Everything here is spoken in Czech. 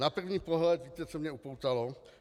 Na první pohled víte, co mě upoutalo?